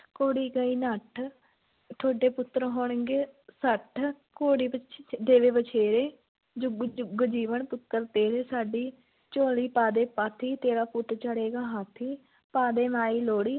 ਘੋੜੀ ਗਈ ਨੱਠ, ਤੁਹਾਡੇ ਪੁੱਤਰ ਹੋਣਗੇ ਸੱਠ, ਘੋੜੀ ਵਛ~ ਦੇਵੇ ਵਛੇਰੇ, ਜੁੱਗ ਜੁੱਗ ਜੀਵਣ ਪੁੱਤਰ ਤੇਰੇ, ਸਾਡੀ ਝੋਲੀ ਪਾ ਦੇ ਪਾਥੀ, ਤੇਰਾ ਪੁੱਤ ਚੜੇਗਾ ਹਾਥੀ, ਪਾ ਦੇ ਮਾਈ ਲੋਹੜੀ,